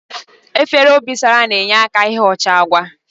Efere obosara na-enyeaka n'ighocha agwa